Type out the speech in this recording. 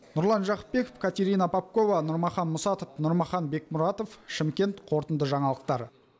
нұрлан жақыпбеков катерина попкова нұрмахан мұсатов нұрмахан бекмұратов шымкент қорытынды жаңалықтар